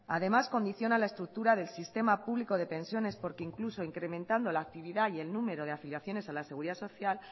además condiciona la estructura del sistema público de pensiones porque incluso incrementando la actividad y el número de afiliaciones a la seguridad social